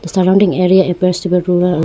surrounding area appears to be rural.